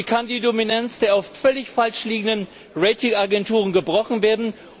Wie kann die Dominanz der oft völlig falsch liegenden Ratingagenturen gebrochen werden?